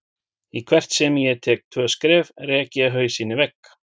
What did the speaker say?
Í hvert sinn sem ég tek tvö skref rek ég hausinn í vegg.